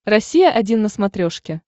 россия один на смотрешке